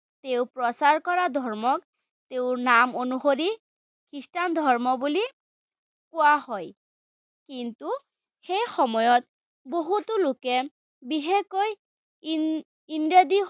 তেওঁ প্ৰচাৰ কৰা ধৰ্মক তেওঁৰ নাম অনুসৰি খ্ৰীষ্টান ধৰ্ম বুলি কোৱা হয়। কিন্তু, সেইসময়ত বহুতো লোকে বিশেষকৈ ইন